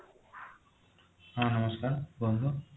ହଁ ନମସ୍କାର କୁହନ୍ତୁ